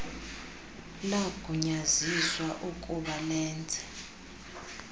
lagunyaziswa ukub alenze